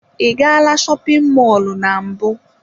Ị gala shopin mọlụ na mbụ?